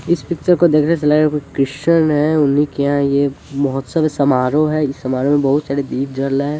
इस पिक्चर को देखने से लग रहा है कोई क्रिश्चियन है उन्ही के यहाँ ये महोत्सव है समारोह है इस समारोह में बहुत सारे दीप जल रहे हैं।